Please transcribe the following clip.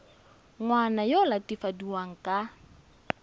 ngwana yo o latofadiwang ka